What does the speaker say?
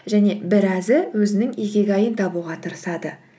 және біразы өзінің икигайын табуға тырысады